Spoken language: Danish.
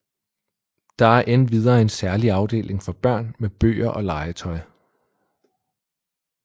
Der er endvidere en særlig afdeling for børn med bøger og legetøj